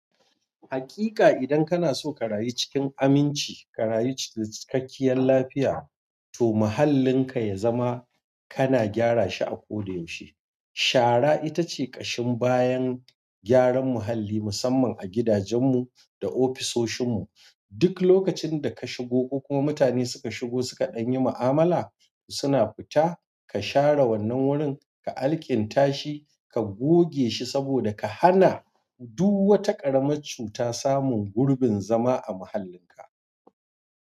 Haƙiƙa idan kana so ka rayu cikin aminci, ka rayu da cikakkiyar lafiya, to mahallinka ya zama kana gyara shi a kodayaushe. Shara ita ce ƙashin bayan gyaran muhalli, musamman a gidajen mu da ofisoshin mu duk lokacin da ka shigo ko kuma mutane suka shigo suka ɗan yi ma'amala suna fita, ka share wannan wurin, ka alkinta shi, ka goge shi saboda ka hana duk wata ƙaramar cuta samun gurbin zama a muhallin ka.